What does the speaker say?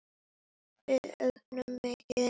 Við eigum mikið inni.